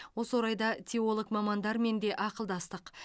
осы орайда теолог мамандармен де ақылдастық